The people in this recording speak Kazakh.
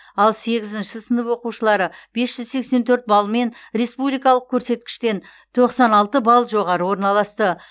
ал сегізінші сынып оқушылары бес жүз сексен төрт балмен республикалық көрсеткіштен тоқсан алты балл жоғары орналасты